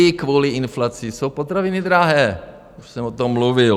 I kvůli inflaci jsou potraviny drahé, už jsem o tom mluvil.